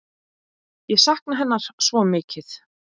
Ég sakna hennar svo mikið.